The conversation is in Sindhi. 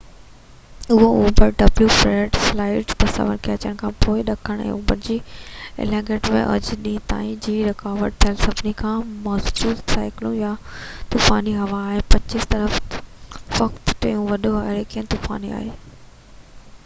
فريڊ، سيٽلائيٽ تصويرون جي اچڻ کان پوءِ ڏکڻ ۽ اوڀر ۾ ايٽلانٽڪ ۾ اڄ ڏينهن تائين جي رڪارڊ ٿيل سڀني کان مضبوط سائيڪلون يا طوفاني هوا آهي، ۽ 35°w جي اوڀر طرف فقط ٽيون وڏو هُريڪين طوفان آهي